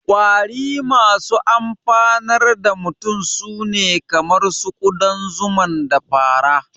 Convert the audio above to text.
Ƙwari masu amfanar da mutum su ne kamar ƙudan zuman, da fara